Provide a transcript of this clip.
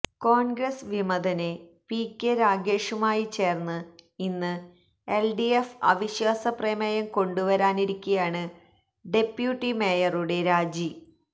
കോണ്ഗ്രസ് വിമതന് P K രാഗേഷുമായി ചേര്ന്ന് ഇന്ന് എല്ഡിഎഫ് അവിശ്വാസ പ്രമേയം കൊണ്ടുവരാനിരിക്കെയാണ് ഡെപ്യൂട്ടി മേയറുടെ രാജി